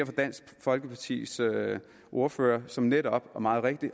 for dansk folkepartis ordfører som netop og meget rigtigt